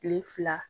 Kile fila